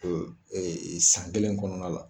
San kelen kɔnɔna la